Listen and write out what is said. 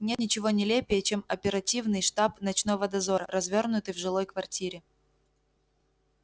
нет ничего нелепее чем оперативный штаб ночного дозора развёрнутый в жилой квартире